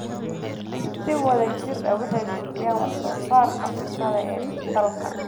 Si wada jir ah, waxay kordhiyaan wax soo saarka cuntada ee dalka.